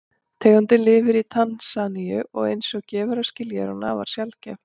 Tegundin lifir í Tansaníu og eins og gefur að skilja er hún afar sjaldgæf.